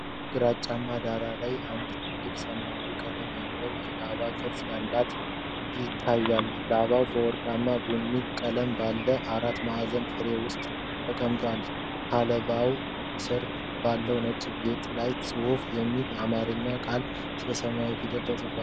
ግራጫማ ዳራ ላይ አንድ ትልቅ ሰማያዊ ቀለም ያለው የላባ ቅርጽ ይታያል። ላባው በወርቃማ ቡኒ ቀለም ባለው አራት ማዕዘን ፍሬም ውስጥ ተቀምጧል። ከላባው ስር ባለው ነጭ ጌጥ ላይ "ጽሑፍ" የሚል የአማርኛ ቃል በሰማያዊ ፊደል ተጽፏል።